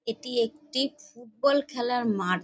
এটি একটি ফুটবল খেলার মাঠ।